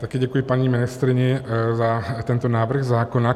Taky děkuji paní ministryni za tento návrh zákona.